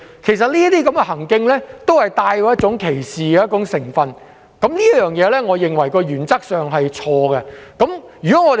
其實，這些行徑帶有歧視成分，我認為原則上是錯的。